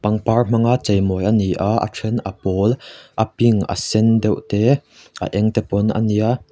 pangpar hmanga chei mawi a ni a a then a pawl a pink a sen deuh te a eng pawn a nia.